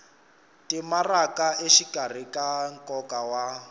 timaraka exikarhi ka nkoka wa